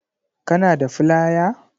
Kana da flaya?